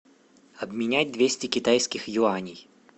обменять двести китайских юаней